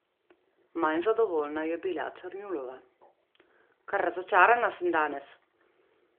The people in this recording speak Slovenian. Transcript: Manj zadovoljna je bila Černjulova: "Kar razočarana sem danes.